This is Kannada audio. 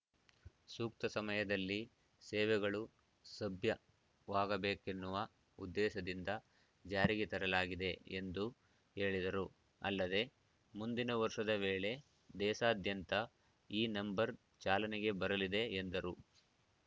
ಸೂಕ್ತ ಸಮಯದಲ್ಲಿ ಸೇವೆಗಳು ಸಭ್ಯವಾಗಬೇಕೆನ್ನುವ ಉದ್ದೇಶದಿಂದ ಜಾರಿಗೆ ತರಲಾಗಿದೆ ಎಂದು ಹೇಳಿದರು ಅಲ್ಲದೆ ಮುಂದಿನ ವರ್ಷದ ವೇಳೆ ದೇಶಾದ್ಯಂತ ಈ ನಂಬರ್‌ ಚಾಲನೆಗೆ ಬರಲಿದೆ ಎಂದರು